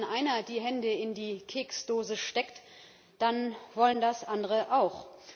Aber wenn einer die Hände in die Keksdose steckt, dann wollen das andere auch.